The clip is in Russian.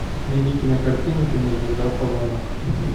найди кинокартину кинозвезда в погонах